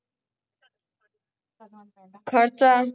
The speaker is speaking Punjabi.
ਖਰਚਾ